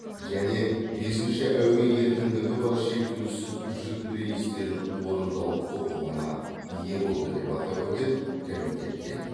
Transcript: және бесіншіші әуе еркіндігі бар шектеусіз жүк рейстерін орындау құқығына ие болды деп атап өтеді комитеттен